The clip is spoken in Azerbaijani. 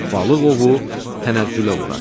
Balıq ovu tənəzzülə uğradı.